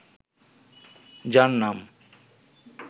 যার নাম